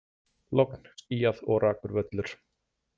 Logn, skýjað og rakur völlur.